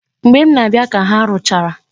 Mgbe m na-abịa ka ha rụchara.